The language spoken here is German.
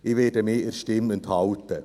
Ich werde mich meiner Stimme enthalten.